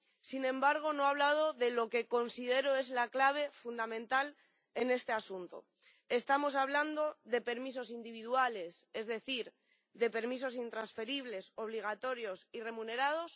Sin embargo, no ha hablado de lo que considero es la clave fundamental en este asunto ¿estamos hablando de permisos individuales, es decir, de permisos intransferibles, obligatorios y remunerados?